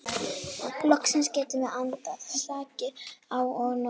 Loksins getum við andað, slakað á og notið.